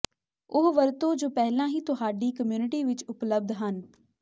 ਉਹ ਵਰਤੋ ਜੋ ਪਹਿਲਾਂ ਹੀ ਤੁਹਾਡੀ ਕਮਿਊਨਿਟੀ ਵਿੱਚ ਉਪਲਬਧ ਹਨ